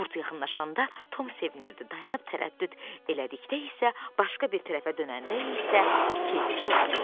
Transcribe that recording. Qurd yaxınlaşanda Tom sevindi, dayanıb tərəddüd elədikdə isə, başqa bir tərəfə dönəndə isə kefi pozulurdu.